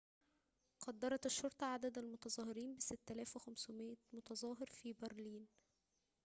قدّرت الشرطة عدد المتظاهرين ب6500 متظاهراً في برلين